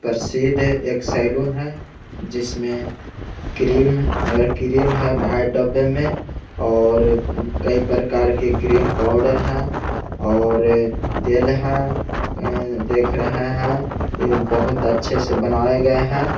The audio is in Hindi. प्रसिद्ध एक सैलून है जिसमें क्रीम अ क्रीम है बाहर डब्बे में और कई प्रकार के क्रीम पाउडर है और तेल है ए देख रहे है ये बहुत अच्छे से बनाये गये है।